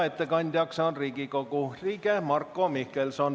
Ettekandja on Riigikogu liige Marko Mihkelson.